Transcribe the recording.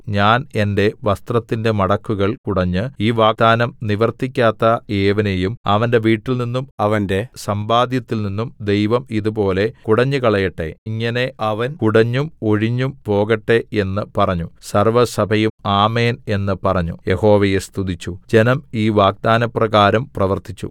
ഞാൻ എന്റെ വസ്ത്രത്തിന്റെ മടക്കുകൾ കുടഞ്ഞ് ഈ വാഗ്ദാനം നിവർത്തിക്കാത്ത ഏവനെയും അവന്റെ വീട്ടിൽനിന്നും അവന്റെ സമ്പാദ്യത്തിൽനിന്നും ദൈവം ഇതുപോലെ കുടഞ്ഞുകളയട്ടെ ഇങ്ങനെ അവൻ കുടഞ്ഞും ഒഴിഞ്ഞും പോകട്ടെ എന്ന് പറഞ്ഞു സർവ്വസഭയും ആമേൻ എന്ന് പറഞ്ഞ് യഹോവയെ സ്തുതിച്ചു ജനം ഈ വാഗ്ദാനപ്രകാരം പ്രവർത്തിച്ചു